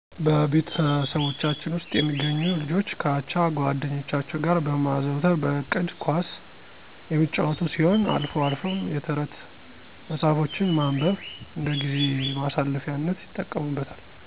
በቤተሰቦቻችን ውስጥ የሚገኙ ልጆች ከአቻ ጓደኞቻቸው ጋር በማዘውተር በእቅድ ኳስ የሚጫወቱ ሲሆን አልፎ አልፎም የተረት መጽሐፎችን ማንበብ እንደጊዜ ማሳለፊያነት ይጠቀሙበታል።